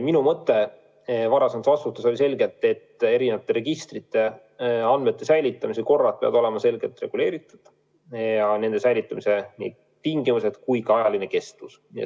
Minu mõte varasemates vastustes oli selgelt see, et eri registrite andmete säilitamise korrad peavad olema selgelt reguleeritud, sh nende säilitamise tingimused ja ajaline kestvus.